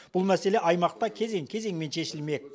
бұл мәселе аймақта кезең кезеңмен шешілмек